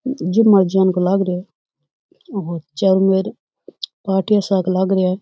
लाग रये है और चारोंमेर पाटीया साक लाग रा है।